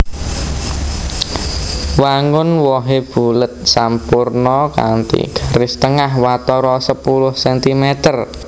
Wangun wohé bulet sampurna kanthi garis tengah watara sepuluh centimeter